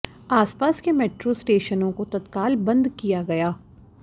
आसपास के मेट्रो स्टेशनों को तत्काल बंद किया गया